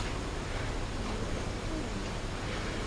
мир тюнинга